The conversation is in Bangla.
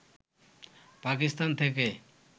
পাকিস্তান থেকে